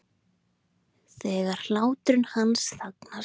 Þegar hláturinn hans þagnar.